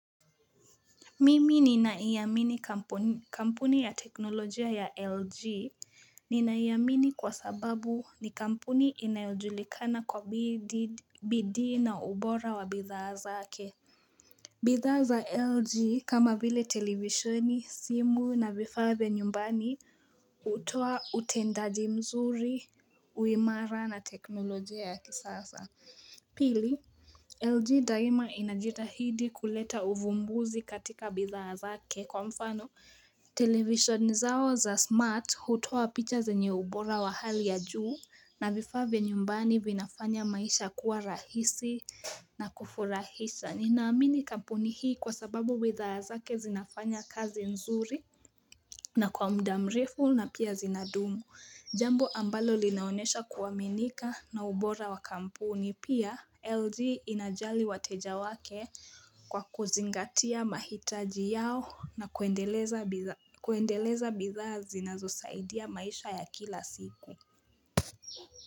Mimi ninaiamini kampuni ya teknolojia ya LG Ninaiamini kwa sababu ni kampuni inajulikana kwa bidii na ubora wa bidhaa zake bidhaa LG kama vile televisheni simu na vifaa vya nyumbani hutoa utendaji mzuri uimara na teknolojia ya kisasa Pili, LG daima inajitahidi kuleta uvumbuzi katika bidhaa zake kwa mfano television zao za smart hutoa picha zenye ubora wa hali ya juu na vifaa vya nyumbani vinafanya maisha kuwa rahisi na kufurahisha Ninaamini kampuni hii kwa sababu bidhaa zake zinafanya kazi nzuri na kwa muda mrefu na pia zinadumu Jambo ambalo linaonesha kuaminika na ubora wa kampuni pia LG inajali wateja wake Kwa kuzingatia mahitaji yao na kuendeleza bidhaa zinazosaidia maisha ya kila siku.